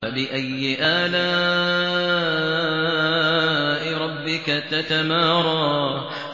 فَبِأَيِّ آلَاءِ رَبِّكَ تَتَمَارَىٰ